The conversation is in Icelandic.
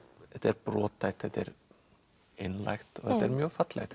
þetta er brothætt þetta er einlægt þetta er mjög fallegt